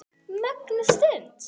Mögnuð stund.